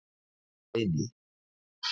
Steini